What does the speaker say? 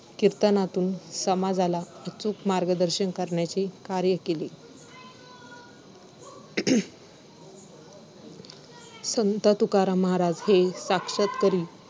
so मुलीन घरात राहिल्या तरी पण तितकच अ दबाव घरातून आणला जातो की घरातून किंवा समाजातून किंवा लोक असले हासतात आणि जर मग घरात आहे.